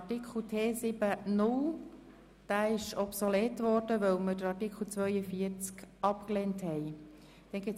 Artikel T7-0 ist obsolet geworden, weil wir Artikel 42 abgelehnt haben.